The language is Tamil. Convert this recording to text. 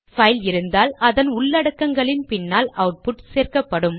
பைல் இருந்தால் அதன் உள்ளடக்கங்களின் பின்னால் அவுட்புட் சேர்க்கப்படும்